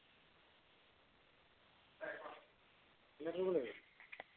এনেকে কৰিব লাগিব